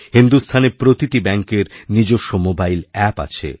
হিন্দুস্থানে প্রতিটি ব্যাঙ্কের নিজস্ব মোবাইল অ্যাপ আছে